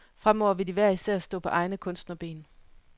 Fremover vil de hver især stå på egne kunstnerben.